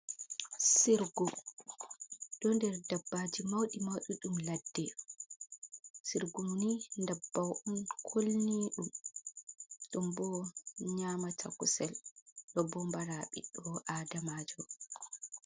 Sirgu ɗo nder dabbaji mauɗi mauɗi ɗum ladde, sirguni dabbau on kulni ɗum, ɗum bo nyamata kusel, ɗo bo mbara ɓiɗɗo adamajo.